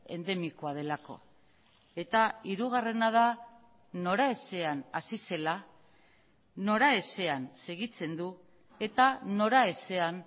endemikoa delako eta hirugarrena da noraezean hasi zela noraezean segitzen du eta noraezean